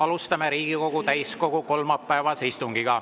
Alustame Riigikogu täiskogu kolmapäevast istungit.